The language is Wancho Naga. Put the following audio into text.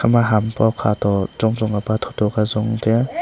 emma ham pao khato chong chong ka pa tho tho ka chong tiya.